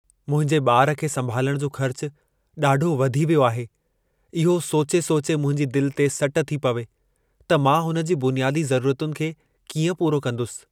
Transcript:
मुंहिंजे ॿार खे संभालण जो ख़र्च ॾाढो वधी वियो आहे। इहो सोचे सोचे मुंहिंजी दिलि ते सट थी पवे त मां हुन जी बुनियादी ज़रूरतुनि खे कीअं पूरो कंदुसि।